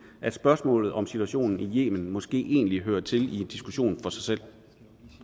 at spørgsmålet om situationen i yemen måske egentlig hører til i en diskussion for sig selv